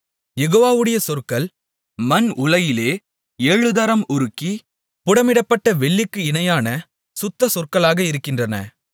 யெகோவாவுடைய சொற்கள் மண் உலையிலே ஏழுதரம் உருக்கி புடமிடப்பட்ட வெள்ளிக்கு இணையான சுத்தசொற்களாக இருக்கின்றன